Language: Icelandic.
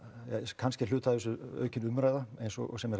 kannski er hluti af þessu aukin umræða eins og sem